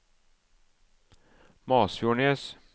Masfjordnes